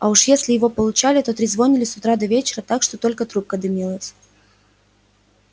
а уж если его получали то трезвонили с утра до вечера так что только трубка дымилась